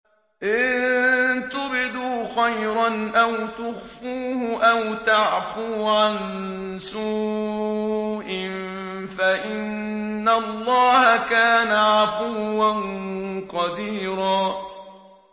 إِن تُبْدُوا خَيْرًا أَوْ تُخْفُوهُ أَوْ تَعْفُوا عَن سُوءٍ فَإِنَّ اللَّهَ كَانَ عَفُوًّا قَدِيرًا